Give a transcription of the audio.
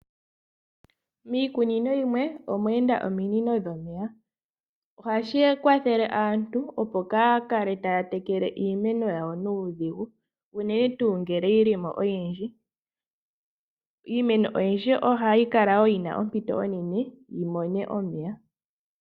Miikunino yimwe omweenda ominono dhomeya, ohashi kwathele aantu opo kaya kale taya tekele iimeno yawo nuudhigu unene tu ngele yili mo oyindji. Iimeno oyindji ohayi kala yina ompito onene yimone omeya.